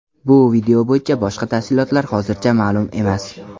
Bu video bo‘yicha boshqa tafsilotlar hozircha ma’lum emas.